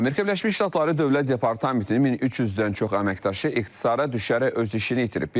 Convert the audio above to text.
Amerika Birləşmiş Ştatları Dövlət Departamentinin 1300-dən çox əməkdaşı ixtisara düşərək öz işini itirib.